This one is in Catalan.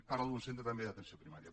parlo d’un centre també d’atenció primària